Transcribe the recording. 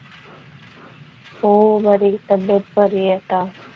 हो बरी तब्बेत बरी आहे आता.